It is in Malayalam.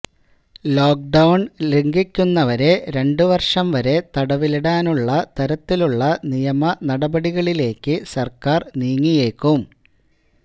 ലോക്ക് ഡൌണ് ലംഘിക്കുന്നവരെ രണ്ട് വര്ഷം വരെ തടവിലിടാവുന്ന തരത്തിലുള്ള നിയമ നടപടികളിലേയ്ക്ക് സര്ക്കാര് നീങ്ങിയേക്കും